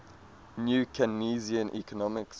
new keynesian economics